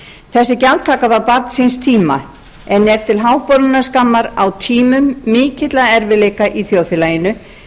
þessi gjaldtaka var barn síns tíma en er til háborinnar skammar á tímum mikilla erfiðleika í þjóðfélaginu